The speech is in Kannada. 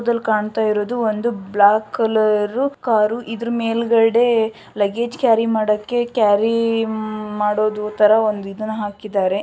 ಚಿತ್ರದಲ್ಲಿ ಕಾಣ್ತಾ ಇರೋದು ಒಂದು ಬ್ಲಾಕ್ ಕಲರ್ ಕಾರು ಇದ್ರು ಮೇಲ್ಗಡೆ ಲಗೇಜ್ ಕ್ಯಾರಿ ಮಾಡಕ್ಕೆ ಕ್ಯಾರಿ ಮಾಡದು ತರ ಒಂದ್ ಇದನ್ನ ಹಾಕಿದ್ದಾರೆ.